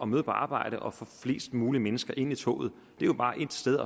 møde på arbejde og få flest mulige mennesker ind i toget det er jo bare ét sted